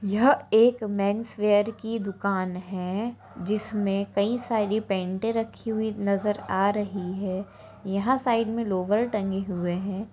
यह एक men's wear की दुकान हैं जिसमें कई सारी पेंट रखी हुई नजर आ रही हैं यहां साइड में लोवर टंगे हुए हैं।